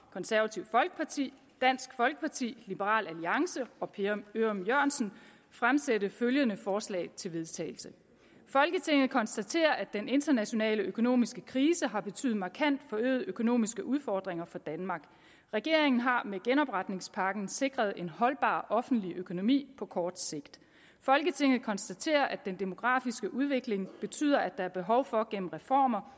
konservative folkeparti dansk folkeparti liberal alliance og per ørum jørgensen fremsætte følgende forslag til vedtagelse folketinget konstaterer at den internationale økonomiske krise har betydet markant forøgede økonomiske udfordringer for danmark regeringen har med genopretningspakken sikret en holdbar offentlig økonomi på kort sigt folketinget konstaterer at den demografiske udvikling betyder at der er behov for gennem reformer